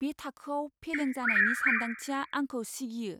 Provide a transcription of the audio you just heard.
बे थाखोयाव फेलें जानायनि सानदांथिया आंखौ सिगियो।